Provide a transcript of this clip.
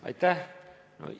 Aitäh!